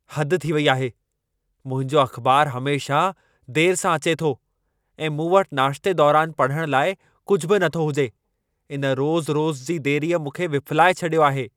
हद थी वेई आहे! मुंहिंजो अख़बारु हमेशह देर सां अचे थो ऐं मूं वटि नाश्ते दौरान पढ़ण लाइ कुझु बि नथो हुजे। इन रोज़-रोज़ जी देरीअ मूंखे विफ़िलाए छॾियो आहे।